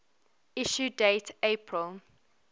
issue date april